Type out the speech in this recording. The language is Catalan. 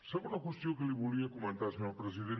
segona qüestió que li volia comentar senyor president